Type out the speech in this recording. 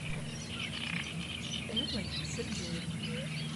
эллой сергеевной